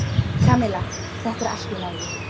Kamilla, þetta er allt í lagi.